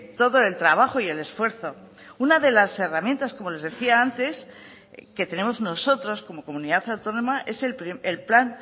todo el trabajo y el esfuerzo una de las herramientas como les decía antes que tenemos nosotros como comunidad autónoma es el plan